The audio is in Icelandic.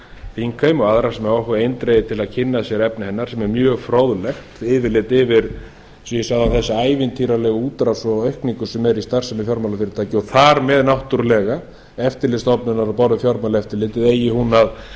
þingheim og aðra sem áhuga hafa á eindregið til að kynna sér efni hennar sem er mjög fróðlegt yfirlit yfir eins og ég sagði áðan þessa ævintýralegu útrás og aukningu sem er í starfsemi fjármálafyrirtækja og þar með náttúrlega eftirlitsstofnunar á borð við fjármálaeftirlitið eigi hún að